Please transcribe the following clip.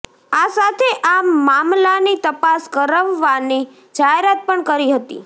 આ સાથે આ મામલાની તપાસ કરાવવાની જાહેરાત પણ કરી હતી